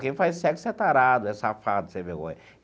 Quem faz sexo é tarado, é safado, sem vergonha.